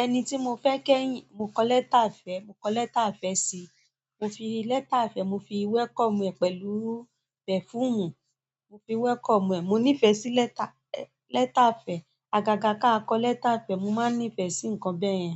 Ẹni tí mo fẹ́ kẹ́yìn, mo kọ lẹ́tà ìfẹ́, mo kọ lẹ́tà ìfẹ́ sí i. Mo fi lẹ́tà ìfẹ́, mo fi wẹ́kọ̀mù ẹ̀ pẹ̀lú pẹ̀fuumù, mo fi wẹ́kọ̀mù ẹ̀. Mo nífẹ̀ẹ́ sí lẹ́tà, lẹ́tà ìfẹ́. Agaga ká a kọ lẹ́tà ìfẹ́, mo máa nífẹ̀ẹ́ sí nǹkan bẹ́yẹn.